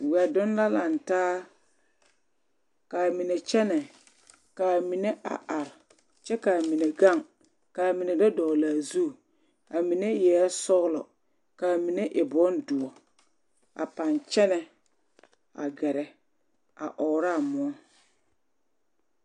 Weɛ donne la lantaa ka amine kyɛŋnɛ ka amine a arɛ kyɛ ka amine gaŋ ka amine do dɔlle la a zu amine eɛɛ soglɔ ka amine e boŋ duoɔ a baŋ kyɛnnɛ a gɛrɛ a ɔɔro a muoɔ.